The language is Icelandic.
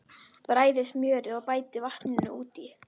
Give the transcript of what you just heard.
Bræðið smjörið og bætið vatninu út í.